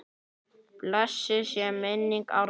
Blessuð sé minning Arnar.